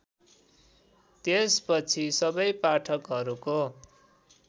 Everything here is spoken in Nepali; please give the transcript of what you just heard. त्यसपछि सबै पाठकहरूको